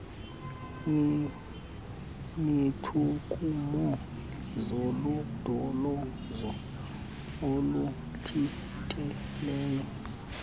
neetshukumo zolondolozo oluthintelayo